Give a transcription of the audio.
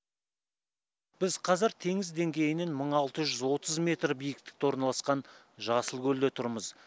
біз қазір теңіз деңгейінен мың алты жүз отыз метр биіктікте орналасқан жасылкөлде тұрмыз